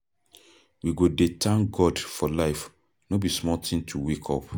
We go dey thank God for life, no be small tin to wake up.